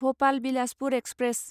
Bhopal Bilaspur express